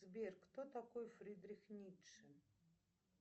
сбер кто такой фридрих ницше